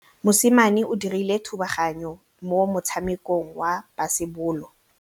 Mosimane o dirile thubaganyô mo motshamekong wa basebôlô.